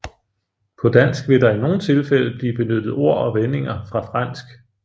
På dansk vil der i nogle tilfælde blive benyttet ord og vendinger fra fransk